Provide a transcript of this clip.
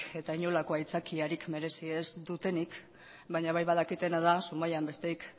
eta inolako aitzakiarik merezi ez dutenik baina bai badakitena da zumaian